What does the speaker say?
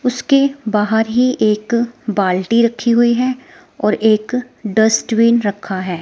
उसके बाहर ही एक बाल्टी रखी हुई है और एक डस्टबिन रखा है।